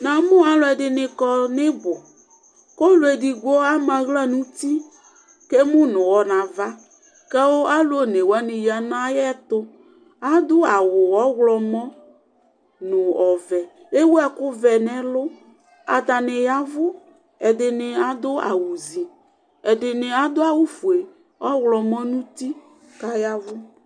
Namʋ alʋ ɛdini kɔ ni ibʋ kʋ ɔlʋ ɛdigbo ama aɣla nʋ uti kʋ emʋ nʋ ʋwɔ nava kʋ alʋ one wani ya nʋ ayɛtʋ Adʋ awʋ ɔwlɔmɔ nʋ ɔvɛ Ewu ɛkʋ vɛ nɛlʋ Atani yavʋ, ɛdini adʋ awʋ zi Ɛdini adʋ awʋ fue, ɔwlɔmɔ nʋ uti kʋ ayavʋ